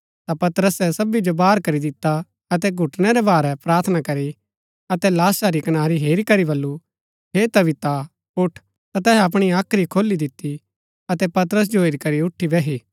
ता पतरसे सबी जो बाहर करी दिता अतै घुटनै रै भारै प्रार्थना करी अतै लाशा री कनारी हेरी करी बल्लू हे तबीता उठ ता तैहै अपणी हाख्री खोली दिती अतै पतरस जो हेरी करी उठी बैही